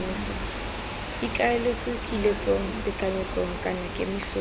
ikaeletswe kiletsong tekanyetsong kana kemisong